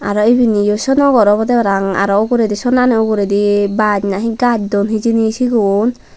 aro ibeniyo sono gor olowde parapang aro uguredi Sonali uguredi bach na gajch duon hijeni sigun.